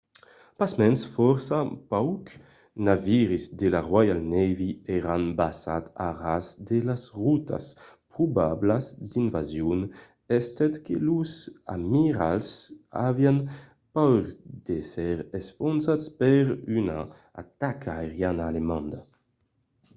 pasmens fòrça paucs naviris de la royal navy èran basats a ras de las rotas probablas d'invasion estent que los amiralhs avián paur d'èsser enfonzats per una ataca aeriana alemanda